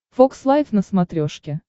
фокс лайф на смотрешке